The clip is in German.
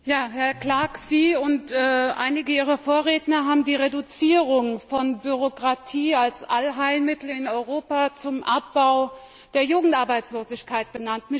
Herr Clark, Sie und einige Ihrer Vorredner haben die Reduzierung von Bürokratie als Allheilmittel in Europa zum Abbau der Jugendarbeitslosigkeit genannt.